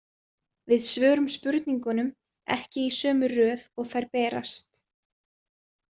Við svörum spurningunum ekki í sömu röð og þær berast.